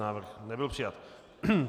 Návrh nebyl přijat.